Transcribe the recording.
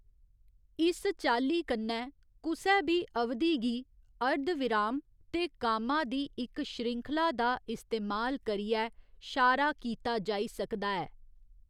इस चाल्ली कन्नै कुसै बी अवधि गी अर्धविराम ते कामा दी इक श्रृंखला दा इस्तेमाल करियै शारा कीता जाई सकदा ऐ।